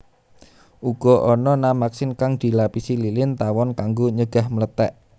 Uga ana namaksin kang dilapisi lilin tawon kanggo nyegah mlethèk